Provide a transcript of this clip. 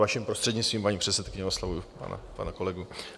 Vaším prostřednictvím, paní předsedkyně, oslovuji pana kolegu.